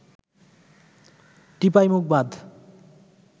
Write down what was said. Tipaimukh Bandh